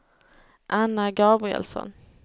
Anna Gabrielsson